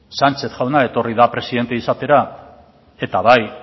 sánchez jauna etorri da presidente izatera eta bai